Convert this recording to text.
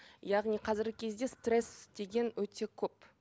яғни қазіргі кезде стресс деген өте көп